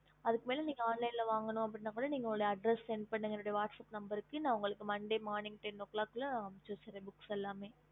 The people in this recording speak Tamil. ஹம்